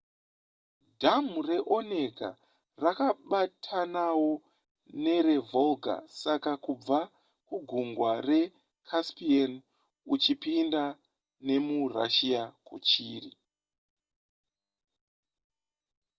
dhamhu reonega rakabatanawo nerevolga saka kubva kugungwa recaspian uchipinda nemurussia kuchiri